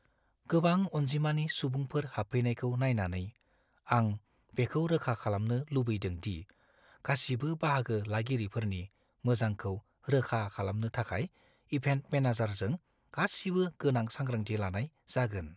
गोबां अनजिमानि सुबुंफोर हाबफैनायखौ नायनानै, आं बेखौ रोखा खालामनो लुबैदों दि गासिबो बाहागो लागिरिफोरनि मोजांखौ रोखा खालामनो थाखाय इभेन्ट मेनेजारजों गासिबो गोनां सांग्रांथि लानाय जागोन।